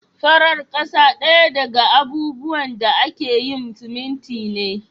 Farar kasa daya daga abubuwan da ake yin siminti ne.